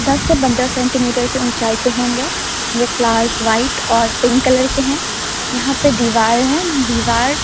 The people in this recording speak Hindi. दस से पंद्रह सेंटीमीटर के ऊंचाई पे होंगे ये फ्लावर्स व्हाइट और पिंक कलर के है यहां पे दीवार है दीवार --